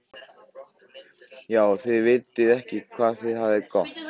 Já, þið vitið ekki hvað þið hafið það gott.